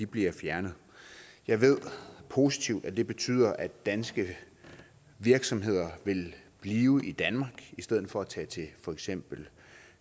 bliver fjernet jeg ved positivt at det betyder at danske virksomheder vil blive i danmark i stedet for at tage til for eksempel